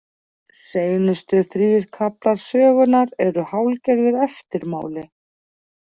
Seinustu þrír kaflar sögunnar eru hálfgerður eftirmáli.